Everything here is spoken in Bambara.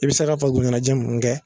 I bɛ se ka farikolo ɲɛnajɛ mun kɛ